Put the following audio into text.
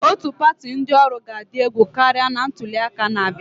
Otu pati ndị ọrụ ga-adị egwu karịa na ntuli aka na-abịa.